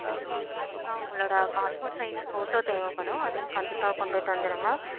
ஆஹ் கண்டிப்பா உங்களோட passport size photo தேவைப்படும். அதையும் கண்டிப்பா கொண்டுட்டு வந்துருங்க